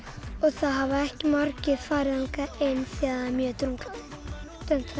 það hafa ekki margir farið þangað inn því það er mjög drungalegt en það